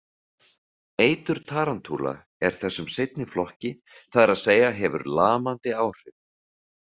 Eitur tarantúla er þessum seinni flokki, það er að segja hefur lamandi áhrif.